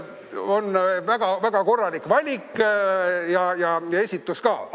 On väga korralik valik ja esitus ka!